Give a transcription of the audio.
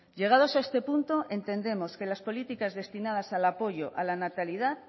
llegados a este punto entendemos que las políticas destinadas al apoyo a la natalidad